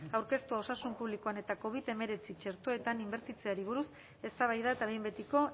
aurkeztua osasun publikoan eta covid hemeretzi txertoetan inbertitzeari buruz eztabaida eta behin betiko